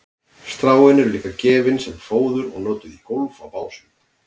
stráin eru líka gefin sem fóður og notuð á gólf í básum